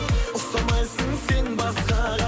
ұқсамайсың сен басқаға